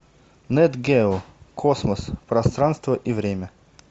нэт гео космос пространство и время